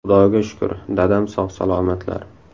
Xudoga shukr, dadam sog‘-salomatlar.